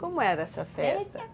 Como era essa festa?